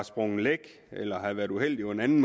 sprunget læk eller nogen har været uheldig med den